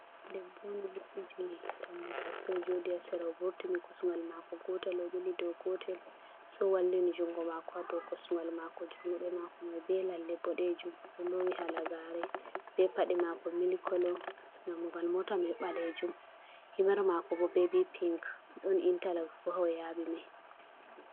Debbo on odo mabbiti dammugal soi ojodi ha sera owurtini kosungal mako gotel obili do gotel sai owallini jungo mako ha do kosungal mako jungo mako mai be lalle bodejum do odon lowi halagare be pade mako milik kolo dammugal mota mai balejum himer mako bo be bi pinc don intaloxs boha oyabi mai.